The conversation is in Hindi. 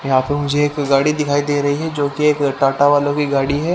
यहां पे मुझे एक गाड़ी दिखाई दे रहीं हैं जोकि एक टाटा वालों की गाड़ी है।